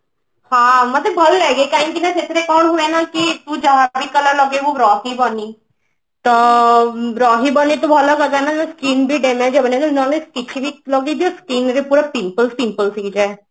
ହଁ ମତେ ଭଲ ଲାଗେ କହିକି ନା ସେଥିରେ ତୁ ଯାହାକୁ ବି color ଲଗେଇବୁ ରହିବନି ତ ରହିବନି ତ ଭଲ କଥା ନା skim ବି damage ହବନି ଏବୋମ ମୁହରେ କିଛି ବି ଲଗେଇ ଦିଅ skin ରେ ପୁରା pimples pimples ହେଇଯାଏ